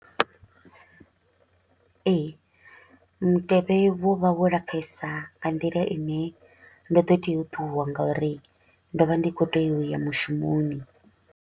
Ee, mutevhe wo vha vho lapfesa nga nḓila i ne ndo ḓo tea u ṱuwa nga uri ndo vha ndi kho u tea u ya mushumoni.